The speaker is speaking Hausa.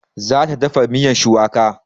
Za ta dafa miyan shuwaka